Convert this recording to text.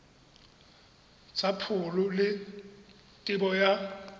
tsa pholo le tebo ya